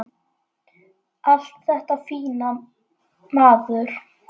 Allt þetta fína, maður.